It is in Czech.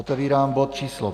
Otevírám bod číslo